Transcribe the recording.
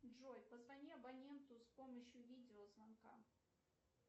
джой позвони абоненту с помощью видеозвонка